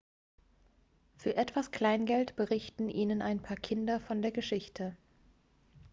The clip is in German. für etwas kleingeld berichten ihnen ein paar kinder von der geschichte